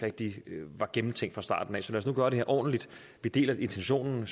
rigtig var gennemtænkt fra starten af så lad os nu gøre det her ordentligt vi deler intentionen vi